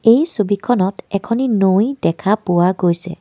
এই ছবিখনত এখনি নৈ দেখা পোৱা গৈছে.